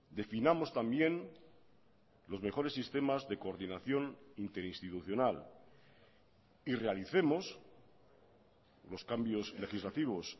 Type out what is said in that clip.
definamos también los mejores sistemas de coordinación interinstitucional y realicemos los cambios legislativos